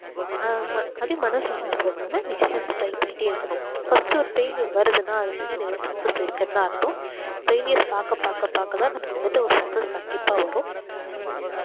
ஆமா~ அப்படியே மனசு உடைஞ்சு போயிராம try பண்ணிட்டே இருக்கணும் first ஒரு failure வருதுன்னா அது பின்னாடி ஏதோ success இருக்குன்னு தான் அர்த்தம் failure அ பார்க்க பார்க்க பார்க்க தான் நமக்கு வந்துட்டு ஒரு success கண்டிப்பா வரும்.